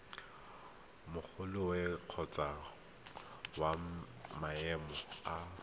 magolwane kgotsa wa maemo a